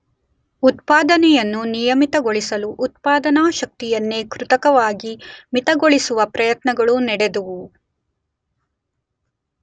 ಉತ್ಪಾದನೆಯನ್ನು ನಿಯಮಿತಗೊಳಿಸಲು ಉತ್ಪಾದನಾ ಶಕ್ತಿಯನ್ನೇ ಕೃತಕವಾಗಿ ಮಿತಗೊಳಿಸುವ ಪ್ರಯತ್ನಗಳೂ ನಡೆದುವು.